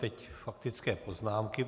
Teď faktické poznámky.